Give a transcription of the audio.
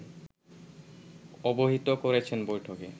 অবহিত করেছেন বৈঠকে